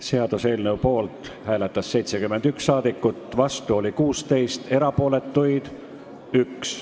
Hääletustulemused Poolt hääletas 71 rahvasaadikut, vastu oli 16 ja erapooletuks jäi 1.